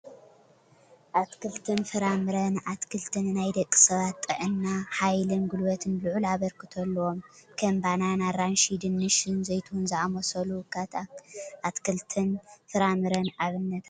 ኣትክልትን ፍራምረን፡- ኣትክልቲ ንናይ ደቂ ሰባት ጥዕና፣ ሓይልን ጉልበትን ልዑል ኣበርክቶ ኣለዎም፡፡ ከም ባናና፣ ኣራንሺ፣ ድንሽን ዘይትሁንን ዝኣመሰሉ ካት ኣትክልትን ፍራምረን ኣብነታት እዮም፡፡